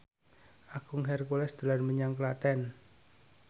Agung Hercules dolan menyang Klaten